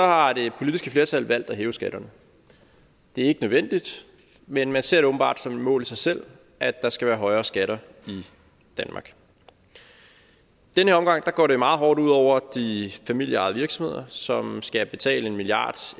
har det politiske flertal valgt at hæve skatterne det er ikke nødvendigt men man ser det åbenbart som et mål i sig selv at der skal være højere skatter i danmark i den her omgang går det meget hårdt ud over de familieejede virksomheder som skal betale en milliard